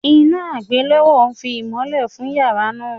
Iná àgbélọ́wọ́ fi ìmolẹ̀ fùn yará náà